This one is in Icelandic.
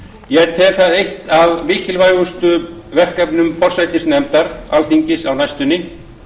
ég tel það eitt af mikilvægustu verkefnum forsætisnefndar alþingis á næstunni